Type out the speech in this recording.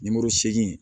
Nimoro segi